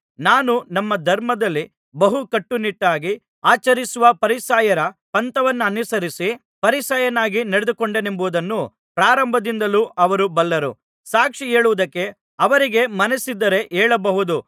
ನಾನು ನಮ್ಮ ಧರ್ಮದಲ್ಲಿ ಬಹು ಕಟ್ಟುನಿಟ್ಟಾಗಿ ಆಚರಿಸುವ ಫರಿಸಾಯರ ಪಂಥವನ್ನನುಸರಿಸಿ ಫರಿಸಾಯನಾಗಿ ನಡೆದುಕೊಂಡೆನೆಂಬುದನ್ನು ಪ್ರಾರಂಭದಿಂದಲೂ ಅವರು ಬಲ್ಲರು ಸಾಕ್ಷಿ ಹೇಳುವುದಕ್ಕೆ ಅವರಿಗೆ ಮನಸ್ಸಿದ್ದರೆ ಹೇಳಬಹುದು